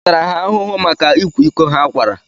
À tara ha ahụhụ maka ịkwa iko ha kwara?